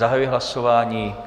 Zahajuji hlasování.